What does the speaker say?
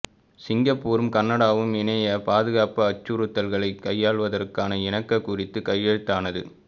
சிங்கப்பூரும் கனடாவும் இணையப் பாதுகாப்பு அச்சுறுத்தல்களைக் கையாள்வதற்கான இணக்கக் குறிப்பு கையெழுத்தானது